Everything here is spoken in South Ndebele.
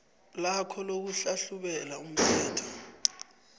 lakho lokuhlahlubela umthelo